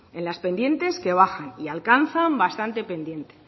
en las pendientes que bajan y alcanzan bastante pendiente